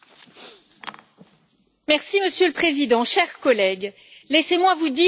Monsieur le Président, chers collègues, laissez moi vous dire que ce débat est absurde.